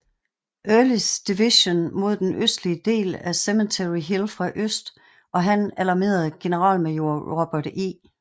Earlys division mod den østlige del af Cemetery Hill fra øst og han alarmerede generalmajor Robert E